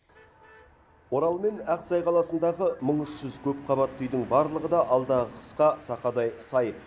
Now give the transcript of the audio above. орал мен ақсай қаласындағы мың үш жүз көпқабатты үйдің барлығы да алдағы қысқа сақадай сай